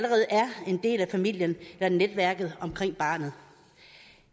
en del af familien eller netværket omkring barnet